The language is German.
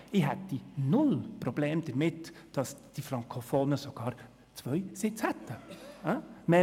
Ich hätte null Probleme damit, dass die Frankofonen sogar zwei Sitze hätten.